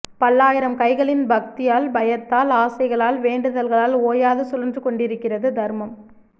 பல்லாயிரம் கைகளின் பக்தியால் பயத்தால் ஆசைகளால் வேண்டுதல்களால் ஓயாது சுழன்றுகொண்டிருக்கிறது தர்மம்